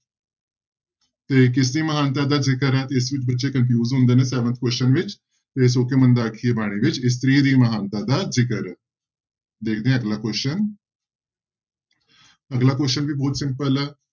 ਤੇ ਕਿਸਦੀ ਮਹਾਨਤਾ ਦਾ ਜ਼ਿਕਰ ਹੈ ਤੇ ਇਸ ਵਿੱਚ ਬੱਚੇ confuse ਹੁੰਦੇ ਨੇ seventh question ਵਿੱਚ ਤੇ ਸੌ ਕਿਉਂ ਮੰਦਾ ਆਖੀਐ ਬਾਣੀ ਵਿੱਚ ਇਸਤਰੀ ਦੀ ਮਹਾਨਤਾ ਦਾ ਜ਼ਿਕਰ ਹੈ, ਦੇਖਦੇ ਹਾਂ ਅਗਲਾ question ਅਗਲਾ question ਵੀ ਬਹੁਤ simple ਹੈ,